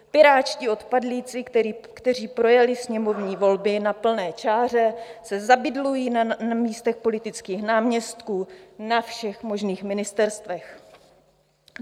Pirátští odpadlíci, kteří projeli sněmovní volby na plné čáře, se zabydlují na místech politických náměstků na všech možných ministerstvech.